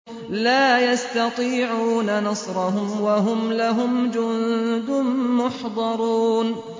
لَا يَسْتَطِيعُونَ نَصْرَهُمْ وَهُمْ لَهُمْ جُندٌ مُّحْضَرُونَ